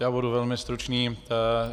Já budu velmi stručný.